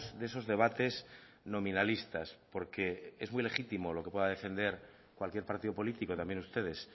de esos debates nominalistas porque es muy legítimo lo que pueda defender cualquier partido político también ustedes